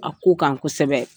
A ko kan kosɛbɛ.